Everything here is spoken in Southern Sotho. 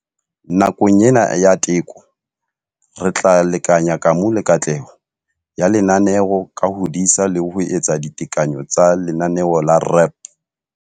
Nakong ena ya teko, re tla lekanya kamo le katleho ya lenaneo ka ho disa le ho etsa ditekanyo tsa lenaneo la REAP.